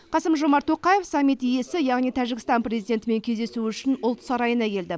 қасым жомарт тоқаев саммит иесі яғни тәжікстан президентімен кездесу үшін ұлт сарайына келді